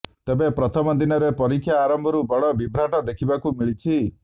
ତେବେ ପ୍ରଥମ ଦିନରେ ପରୀକ୍ଷା ଆରମ୍ଭରୁ ବଡ ବିଭ୍ରାଟ ଦେଖିବାକୁ ମିଳିଛି